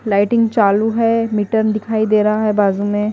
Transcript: Lighting चालू है मीटन दिखाई दे रहा है बाजू में।